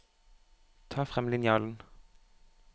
Ta frem linjalen